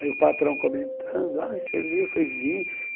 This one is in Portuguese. Aí o patrão comentando, ai você viu, falei vi.